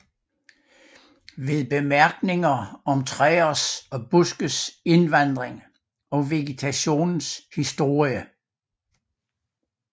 Med Bemærkninger om Træers og Buskes Indvandring og Vegetationens Historie